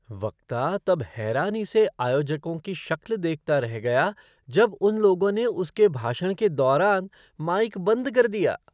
वक्ता तब हैरानी से आयोजकों की शक्ल देखता रह गया जब उन लोगों ने उसके भाषण के दौरान माइक बंद कर दिया।